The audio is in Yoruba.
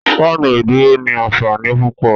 Fáànù ìdúró ní ànfàní púpọ